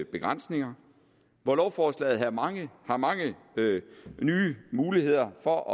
begrænsninger hvor lovforslaget har mange har mange nye muligheder for at